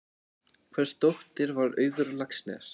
Hvers dóttir var Auður Laxness?